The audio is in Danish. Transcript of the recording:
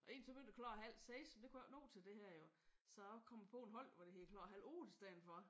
Egentlig så begyndte det klokken halv 6. Men det kunne jeg ikke nå til det her jo. Så er jeg kommet på et hold hvor det hedder klokken halv 8 i stedet for